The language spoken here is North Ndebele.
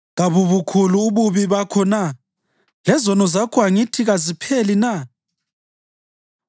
Kabubukhulu ububi bakho na? Lezono zakho angithi kazipheli na?